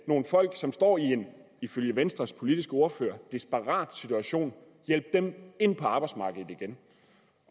nogle folk som står i en ifølge venstres politiske ordfører desperat situation ind på arbejdsmarkedet igen